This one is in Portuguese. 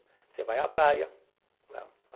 Você vai à praia, né?